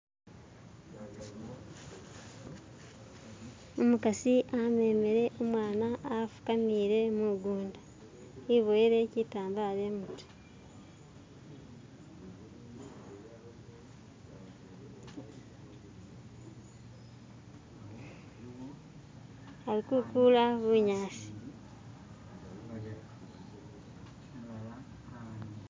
umukasi amemele umwana afukamile mugunda iboyele kitambala imutye ali kukula bunyasi